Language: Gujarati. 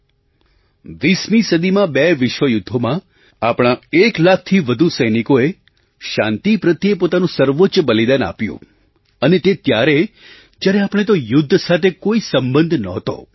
20મી સદીમાં બે વિશ્વયુદ્ધોમાં આપણા એક લાખથી વધુ સૈનિકોએ શાંતિ પ્રત્યે પોતાનું સર્વોચ્ચ બલિદાન આપ્યું અને તે ત્યારે જ્યારે આપણો તે યુદ્ધ સાથે કોઈ સંબંધ નહોતો